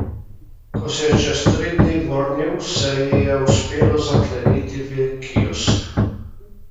Ko se je čez tri dni vrnil, se ji je uspelo zakleniti v kiosk.